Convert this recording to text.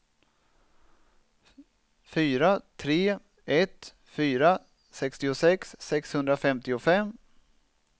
fyra tre ett fyra sextiosex sexhundrafemtiofem